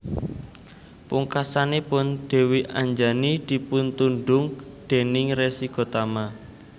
Pungkasanipun Dèwi Anjani dipuntundhung déning Resi Gotama